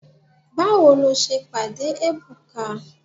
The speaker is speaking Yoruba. Báwo lo ṣe pàdé Ebuka?